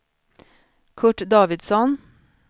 Curt Davidsson